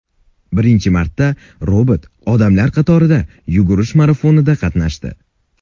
Birinchi marta robot odamlar qatorida yugurish marafonida qatnashdi .